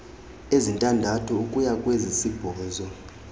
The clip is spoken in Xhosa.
ezintandathu ukuya kwezisibhozo